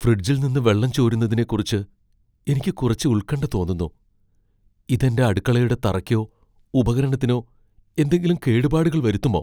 ഫ്രിഡ്ജിൽ നിന്ന് വെള്ളം ചോരുന്നതിനെക്കുറിച്ച് എനിക്ക് കുറച്ച് ഉൽകണ്ഠ തോന്നുന്നു ഇത് എന്റെ അടുക്കളയുടെ തറയ്ക്കോ ഉപകരണത്തിനോ എന്തെങ്കിലും കേടുപാടുകൾ വരുത്തുമോ?